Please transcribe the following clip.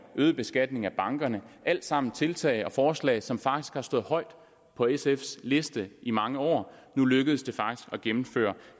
øget beskatning af bankerne og alt sammen tiltag og forslag som har stået højt på sfs liste i mange år og nu lykkes det at gennemføre